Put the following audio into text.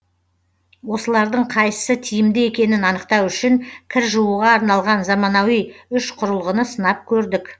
осылардың қайсы тиімді екенін анықтау үшін кір жууға арналған заманауи үш құрылғыны сынап көрдік